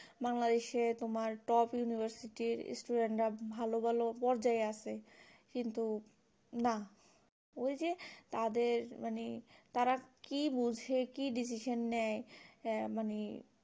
বাংলাদেশ এ তোমার top university র student রা ভালো বোলো পর্যায়ে আছে কিন্তু না ওই যে তাদের মানে তারা কি বুঝে মানে কি decision নেই